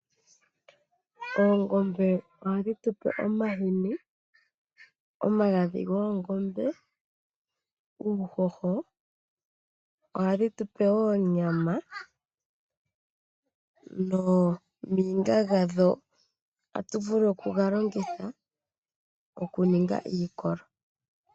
Oongombe ohadhi tu pe omahini, omagadhi goongombe, uuhoho. Ohadhi tupe wo onyama nooniga dhadho ohatu vulu oku dhi longitha okuninga iikolo.